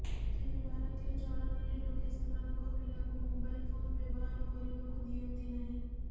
ତେବେ ଭାରତୀୟ ଚଳଣିରେ ଲୋକେ ସେମାନଙ୍କ ପିଲାଙ୍କୁ ମୋବାଇଲ ଫୋନ ବ୍ୟବହାର କରିବାକୁ ଦିଅନ୍ତି ନାହିଁ